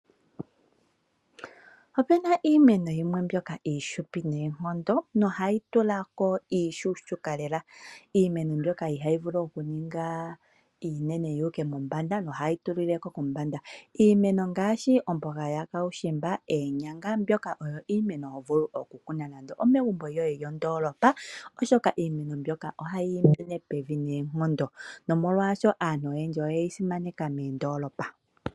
Ope na iimeno yimwe mbyoka iishupi noonkondo, nohayi tula ko iishuushuka lela. Iimeno mbyoka ihayi vulu okuninga iinene yuuka mombanda, nohayi tulile ko kombanda. Iimeno ngaashi omboga yakaushimba, eenyanga, mbyoka oyo iimeno hovulu okukuna nando omegumbo lyoye lyondoolopa, oshoka iimeno mbyoka ihayiimine pevi noonkondo. Nomolwaasho aanhu oyendji oye yi simaneka meendoolopa.